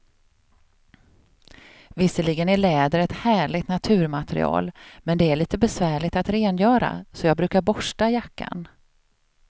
Visserligen är läder ett härligt naturmaterial, men det är lite besvärligt att rengöra, så jag brukar borsta jackan.